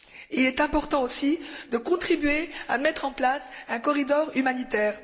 Il est important aussi de contribuer à mettre en place un corridor humanitaire.